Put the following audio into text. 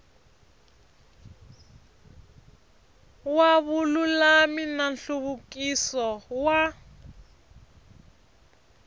wa vululami na nhluvukiso wa